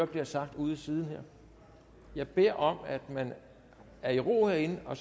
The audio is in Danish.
bliver sagt ude i siden jeg beder om at man er i ro herinde og